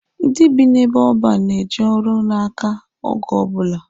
Ndị bi n'ebe ọban na-eji ọrụ n'aka oge ọbụla.